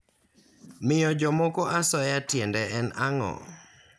Miyo jomoko asoya tiende en ang'o?